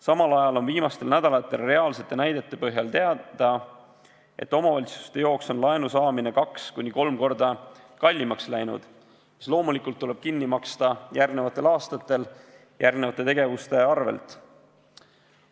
Samal ajal on viimaste nädalate reaalsete näidete põhjal teada, et omavalitsuste jaoks on laenu saamine 2–3 korda kallimaks läinud, mis loomulikult tuleb kinni maksta järgmistel aastatel järgmiste tegevuste arvel.